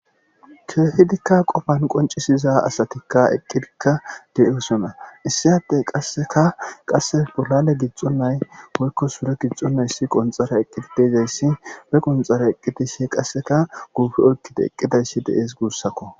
keehidikka qofan qoncisiza asatikka eqqidikka de7osona issi atte qasseka qasse bolale gixonnay woykko sure gixxonnayssi qonxara eqqidi deezayssi be qonxara eqqitishi qasseka guufe oykkida eqqidayssi dees guussakko